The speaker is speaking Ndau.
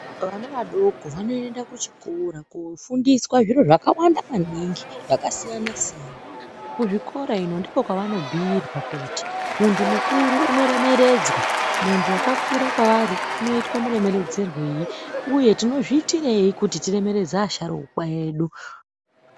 Vana vadoko vanoenda kuchikora kofundiswa zviro zvakawanda maningi zvakasiyna-siyana kuzvikora ino ndiko kwavanobhuirwa kuti muntu mukuru unoremekedzwa muntu wakaura kwavari unoitwa muremeredzerwei uye tinozviitirei kuti tiremeredze asharuka edu.